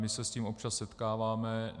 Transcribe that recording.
My se s tím občas setkáváme.